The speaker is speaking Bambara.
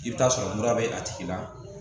I bɛ taa sɔrɔ mura bɛ a tigi la